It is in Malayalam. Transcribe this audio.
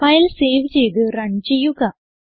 ഫയൽ സേവ് ചെയ്ത് റൺ ചെയ്യുക